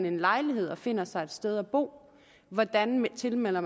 en lejlighed og finder sig et sted at bo hvordan man tilmelder